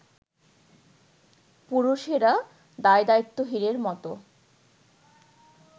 পুরুষেরা দায়দায়িত্বহীনের মতো